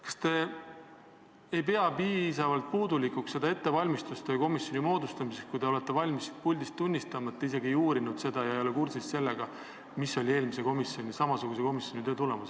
Kas te ei pea ettevalmistust ühe komisjoni moodustamiseks puudulikuks, kui te olete valmis siit puldist tunnistama, et te isegi ei uurinud seda, mis oli eelmise samasuguse komisjoni töö tulemus, ega ole sellega kursis?